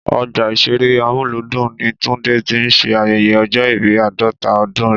Ọgbà ìṣeré Amúlùúdùn ní Tunde ti ń ṣe ayẹyẹ ọjọ́ ìbí àádọ́ta ọdún rẹ̀